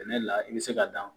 Sɛnɛ la i bi se ka dan